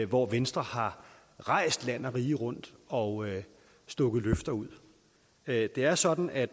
hvor venstre har rejst land og rige rundt og stukket løfter ud det er sådan at